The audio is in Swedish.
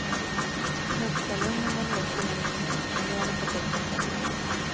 Knubbsälungen var nedkyld när den kom in, men nu har den fått upp temperaturen.